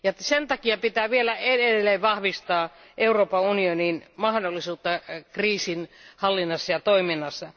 Sen takia pitää vielä edelleen vahvistaa Euroopan unionin mahdollisuuksia kriisin hallinnassa ja toiminnassa.